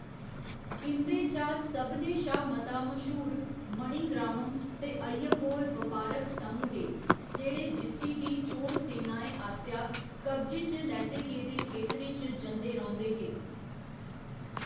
इं'दे चा सभनें शा मता मश्हूर मणिग्रामम् ते अय्यवोल बपारक संघ हे जेह्‌‌ड़े जित्ती दी चोल सेनाएं आस्सेआ कब्जे च लैते गेदे खेतरें च जंदे रौंह्दे हे।